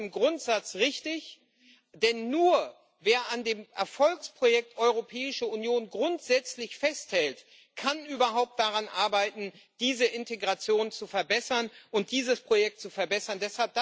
Das ist im Grundsatz richtig, denn nur, wer an dem Erfolgsprojekt Europäische Union grundsätzlich festhält, kann überhaupt daran arbeiten, diese Integration zu verbessern und dieses Projekt zu verbessern.